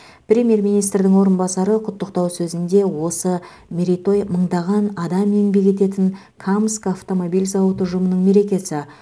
премьер министрдің орынбасары құттықтау сөзінде осы мерейтой мыңдаған адам еңбек ететін камск автомобиль зауыты ұжымының мерекесі